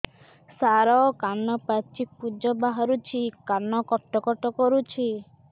ସାର କାନ ପାଚି ପୂଜ ବାହାରୁଛି କାନ କଟ କଟ କରୁଛି